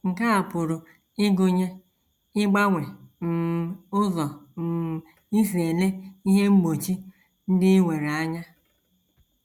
Nke a pụrụ ịgụnye ịgbanwe um ụzọ um i si ele ihe mgbochi ndị i nwere anya.